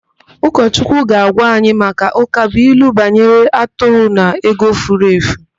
Ụkọchukwu ga-agwa anyị maka ụkabụilu banyere atụrụ na ego furu efu.